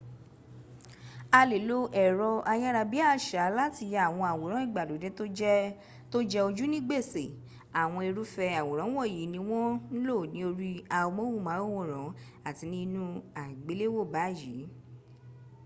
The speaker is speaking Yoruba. a le lo ẹ̀rọ ayárabíàṣá láti ya àwọn awòrán ìgbàlódé tó jẹ ojú ni gbèsè àwọn irúfẹ́ àwòrán wọ̀nyí ni wọ́n ń lo ní orí amóhùnmáwòrán àti ní inú àgbéléwò báyìí